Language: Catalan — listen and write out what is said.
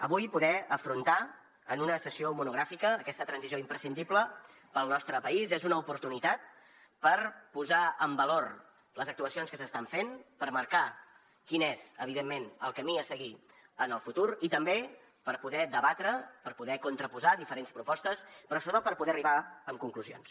avui poder afrontar en una sessió monogràfica aquesta transició imprescindible per al nostre país és una oportunitat per posar en valor les actuacions que s’estan fent per marcar quin és evidentment el camí a seguir en el futur i també per poder debatre per poder contraposar diferents propostes però sobretot per poder arribar a conclusions